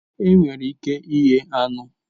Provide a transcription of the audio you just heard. Enwere ike ighe anụ